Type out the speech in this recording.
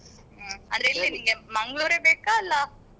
ಹ್ಮ್ ಅಂದ್ರೆ ಎಲ್ಲಿ ನಿಂಗೆ Mangalore ಯೇ ಬೇಕಾ ಅಲ್ಲಾ